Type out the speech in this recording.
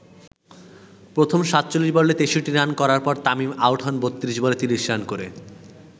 প্রথম ৪৭ বলে ৬৩ রান করার পর তামিম আউট হন ৩২ বলে ৩০ রান করে।